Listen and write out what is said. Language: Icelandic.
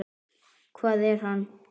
Hvað er hann?